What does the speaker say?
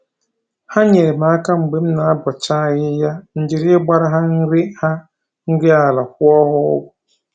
Ha nyeere m aka mgbe m na-abọcha ahịhịa, m jiri ịgbara ha nri ha nri ala kwụọ ha ụgwọ